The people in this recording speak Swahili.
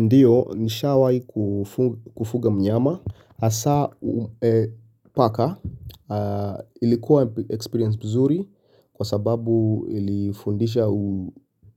Ndio nishawahi kufuga mnyama, hasa paka. Ilikuwa experience mzuri kwa sababu ilifundisha